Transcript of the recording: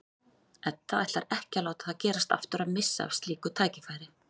Edda ætlar ekki að láta það gerast aftur að missa af slíku tækifæri.